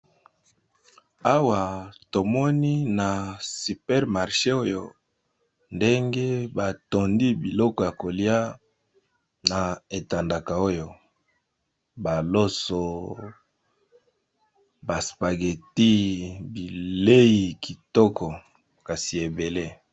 Awa tomoni na supermarshe oyo ndenge batandi biloko ya kolia na etandaka oyo baloso baspageti bilei kitoko kasi ebele.